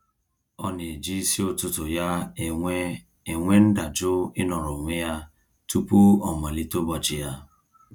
Ọ na-eji isi ụtụtụ ya enwe enwe ndajụ ịnọrọ onwe ya tụpụ ọ malite ụbọchị ya.